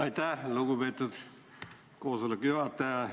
Aitäh, lugupeetud koosoleku juhataja!